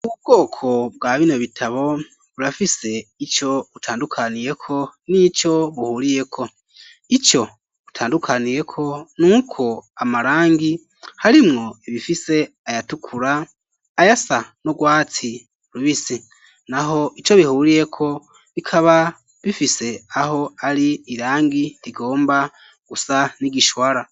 Ubwoko bwa bino bitabo burafise ico butandukaniyeko nico buhuriyeko ico butandukaniyeko nuko amarangi harimwo ibifise ayatukura ayasa n'urwatsi rubisi naho ico bihuriyeko bikaba bifise aho ari irangi rigomba gusa n'igishwara